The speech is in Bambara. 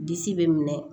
Disi bɛ minɛ